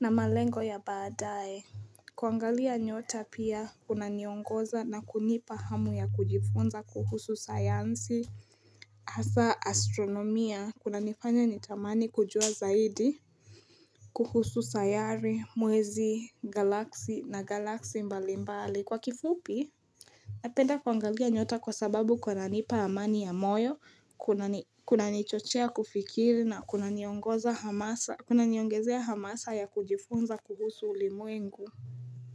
na malengo ya badae. Kuangalia nyota pia kuna niongoza na kunipa hamu ya kujifunza kuhusu sayansi. Hasa astronomia kunanifanya nitamani kujua zaidi. Kuhusu sayari, mwezi, galaksi na galaksi mbalimbali. Kwa kifupi? Napenda kuangalia nyota kwa sababu kunanipa amani ya moyo, kunanichochea kufikiri na kunaniongezea hamasa ya kujifunza kuhusu ulimuengu.